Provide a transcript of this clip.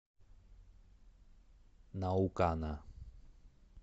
наукана